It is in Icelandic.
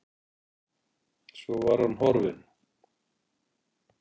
Svo var hann horfinn.